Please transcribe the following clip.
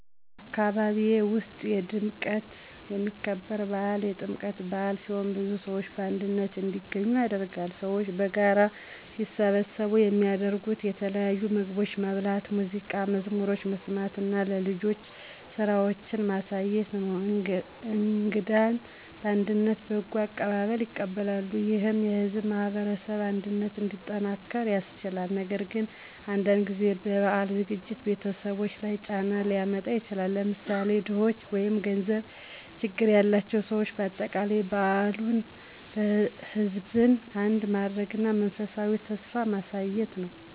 አካባቢዬ ውስጥ በድምቀት የሚከበር በዓል የጥምቀት በአል ሲሆን ብዙ ሰዎች በአንድነት እንዲገኙ ያደርጋል። ሰዎች በጋራ ሲሰበሰቡ የሚያደርጉት የተለያዩ ምግቦችን መብላት፣ ሙዚቃና መዝሙሮችን መስማት እና ለልጆች ስራዎችን ማሳየት ነው። እንግዳን በአንድነት በጎ አቀባበል ይቀበላሉ፣ ይህም የሕዝብን ማህበረሰብ አንድነት እንዲጠናክር ያስችላል። ነገር ግን አንዳንድ ጊዜ የበዓሉ ዝግጅት ቤተሰቦች ላይ ጫና ሊያመጣ ይችላል፣ ለምሳሌ ድኾች ወይም ገንዘብ ችግር ያላቸው ሰዎች። በአጠቃላይ በዓሉ ሕዝብን አንድ ማድረግ እና የመንፈሳዊ ተስፋ ማሳየት ነው።